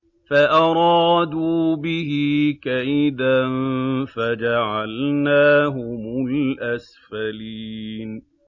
فَأَرَادُوا بِهِ كَيْدًا فَجَعَلْنَاهُمُ الْأَسْفَلِينَ